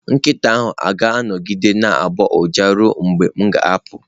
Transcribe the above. Nkịta ahụ ọ ga-anọgide na-agbọ ụja ruo mgbe m ga-apụ?